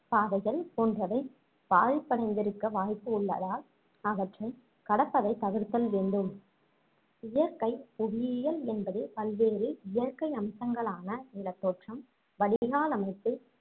பாதைகள் போன்றவை பாதிப்படைந்திருக்க வாய்ப்பு உள்ளதால் அவற்றை கடப்பதைத் தவிர்த்தல் வேண்டும் இயற்கை புவியியல் என்பது பல்வேறு இயற்கை அம்சங்களான நிலத்தோற்றம் வடிகால் அமைப்பு